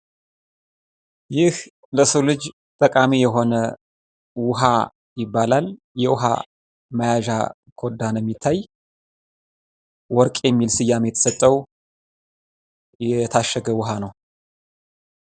ይህ ለሰው ልጅ ጠቃሚ የሆነ ውሀ ይባላል። የውሀ መያዣ ኮዳ ነው የሚታይ ወረቅ የሚል ስያሜ የተሰጠው የታሸገ ውሀ ነው።